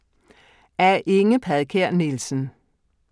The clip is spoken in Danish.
Af Inge Padkær Nielsen